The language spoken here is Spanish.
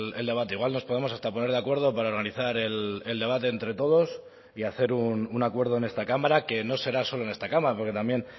el debate igual nos podemos hasta poner de acuerdo para organizar el debate entre todos y hacer un acuerdo en esta cámara que no será solo en esta cámara porque también